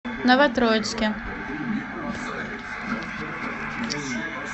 новотроицке